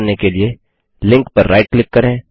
यह करने के लिए लिंक पर राइट क्लिक करें